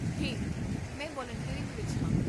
ਹੇ, ਮੈਂ ਵਲੰਟੀਅਰਿੰਗ ਵਿੱਚ ਹਾਂ